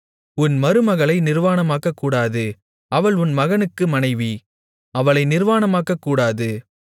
உன் மருமகளை நிர்வாணமாக்கக்கூடாது அவள் உன் மகனுக்கு மனைவி அவளை நிர்வாணமாக்கக்கூடாது